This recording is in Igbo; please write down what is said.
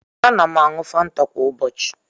Ana m aṅụ famta kwa ụbọchị.